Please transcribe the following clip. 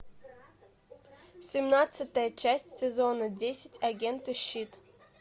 семнадцатая часть сезона десять агенты щит